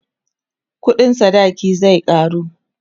ƙuɗin sadaki zai karu